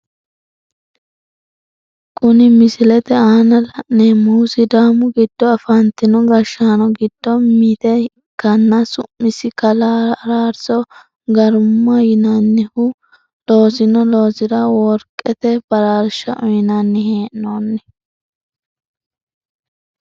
Kunni misilete aanna la'neemohu sidaamu gido afantino gashaano gido mite ikanna su'masi kalaa araarso garamu yinnanni loosino loosira workete baraarsha uyinnani hee'nonni.